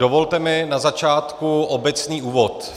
Dovolte mi na začátku obecný úvod.